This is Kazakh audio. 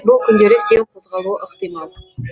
бұл күндері сең қозғалуы ықтимал